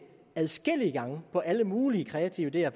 adskillige gange på alle mulige kreative ideer